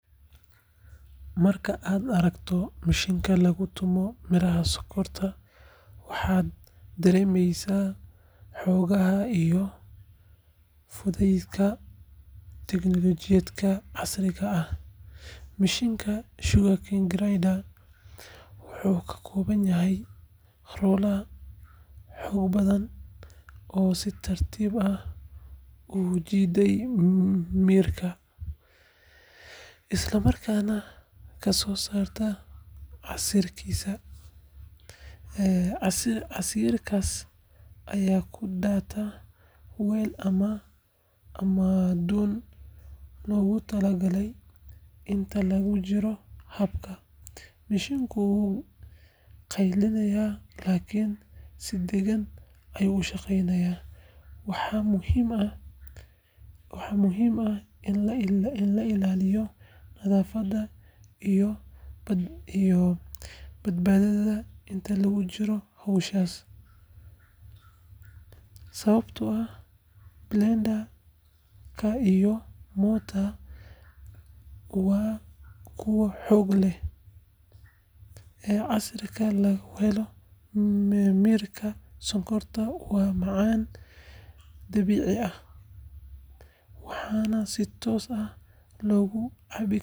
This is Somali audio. Marka aad aragto mishiinka lagu tumo miiraha sonkorta, waxaad dareemeysaa xoogga iyo fudaydka tiknoolajiyadda casriga ah. Mishiinka sugarcane grinder wuxuu ka kooban yahay rollers xoog badan oo si tartiib ah u jiidaya miirka, isla markaana ka soo saara casiirkiisa. Casiirkaas ayaa ku daata weel ama dhuun loogu tala galay. Inta lagu jiro habka, mishiinku wuu qayliyaa, laakiin si degan ayuu u shaqeeyaa. Waxaa muhiim ah in la ilaaliyo nadaafadda iyo badbaadada inta lagu jiro howsha, sababtoo ah blades-ka iyo motor-ka waa kuwo xoog leh. Casiirka laga helo miirka sonkorta waa macaan, dabiici ah, waxaana si toos ah loogu cabbi karaa.